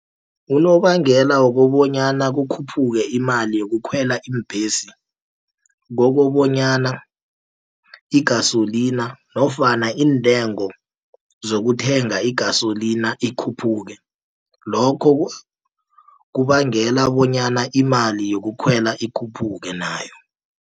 Unobangela wokobonyana kukhuphuke imali yokukhwela iimbhesi, kokobanyana igasolina nofana iintengo zokuthenga igasolina ikhuphuke. Lokho kubangela bonyana imali yokukhwela ikhuphuke nayo.